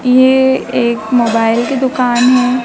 ये एक मोबाइल की दुकान हैं।